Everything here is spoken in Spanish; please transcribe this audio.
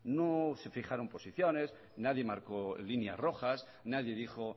no se fijaron posiciones nadie marcó líneas rojas nadie dijo